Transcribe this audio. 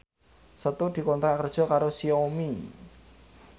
Setu dikontrak kerja karo Xiaomi